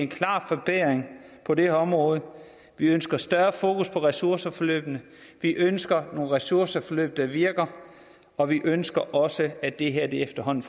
klar forbedring på det her område vi ønsker et større fokus på ressourceforløbene vi ønsker nogle ressourceforløb der virker og vi ønsker også at det her efterhånden